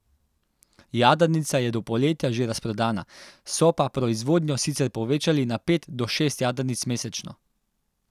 Jadrnica je do poletja že razprodana, so pa proizvodnjo sicer povečali na pet do šest jadrnic mesečno.